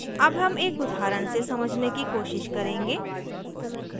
अब हम एक उदाहरण से समझने की कोशिश करेंगे